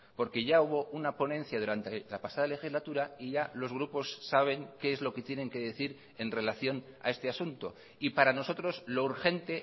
porque ya hubo una ponencia durante la pasada legislatura y ya los grupos saben qué es lo que tienen que decir en relación a este asunto y para nosotros lo urgente